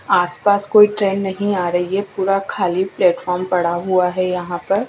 आस पास कोई ट्रेन नहीं आ रही है पूरा खाली प्लेटफार्म पड़ा हुआ है यहां पर।